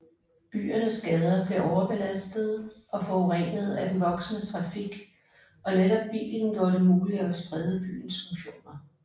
Byernes gader blev overbelastede og forurenede af den voksende trafik og netop bilen gjorde det muligt at sprede byens funktioner